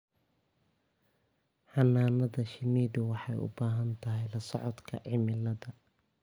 Xannaanada shinnidu waxay u baahan tahay la socodka cimilada.